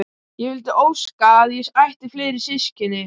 Ég vildi óska að ég ætti fleiri systkini.